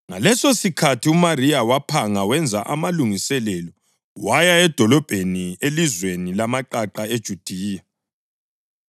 Ngalesosikhathi uMariya waphanga wenza amalungiselelo waya edolobheni elizweni lamaqaqa eJudiya,